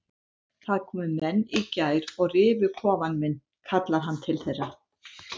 Það komu menn í gær og rifu kofann minn kallar hann til þeirra.